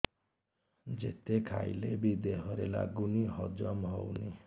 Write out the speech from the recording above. ଯେତେ ଖାଇଲେ ବି ଦେହରେ ଲାଗୁନି ହଜମ ହଉନି